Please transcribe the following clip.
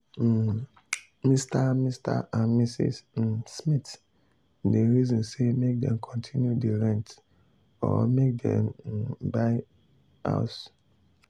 um mr mr and mrs um smith dey reason say make dem continue dey rent or make um dem buy house.